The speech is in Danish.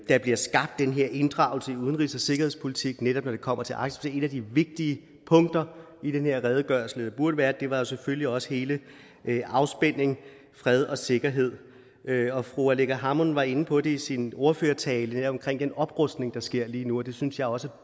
der bliver skabt den her inddragelse i udenrigs og sikkerhedspolitik netop når det kommer til arktis et af de vigtige punkter i den her redegørelse eller burde være det var selvfølgelig også hele afspændingen fred og sikkerhed og fru aleqa hammond var inde på det i sin ordførertale omkring den oprustning der sker lige nu og det synes jeg også